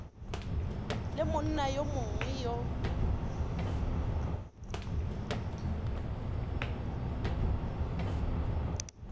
le monna yo mongwe yo